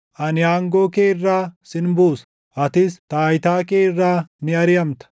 Ani aangoo kee irraa sin buusa; atis taayitaa kee irraa ni ariʼamta.